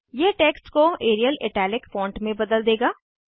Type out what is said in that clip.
यह टेक्स्ट को Arial italic font में बदल देगा